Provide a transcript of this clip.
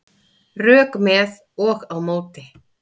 Rök með og á móti